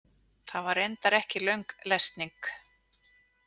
Það var reyndar ekki löng lesning.